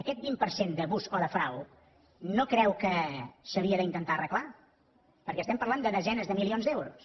aquest vint per cent d’abús o de frau no creu que s’havia d’intentar arreglar perquè estem parlant de desenes de milions d’euros